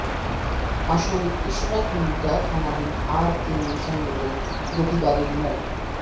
আসামি ইশরাত মুগদা থানাধীন R K Mission রোডের গোপীবাগের মো